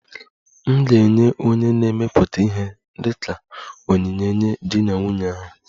M ga-enye onye na-emepụta ihe dị ka onyinye nye di na nwunye ahụ